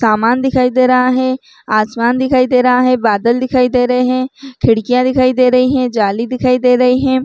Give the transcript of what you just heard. सामान दिखाई दे रहा है आसमान दिखाई दे रहा है बादल दिखाई दे रहे है खिड़कियाँ दिखाई दे रही है जाली दिखाई दे रही है।